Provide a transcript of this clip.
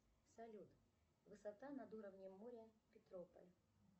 салют высота над уровнем моря петрополь